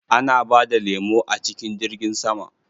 Ana bada lemo a cikin jirgin sama?